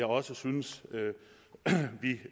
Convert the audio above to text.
også synes